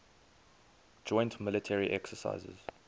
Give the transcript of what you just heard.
joint military exercises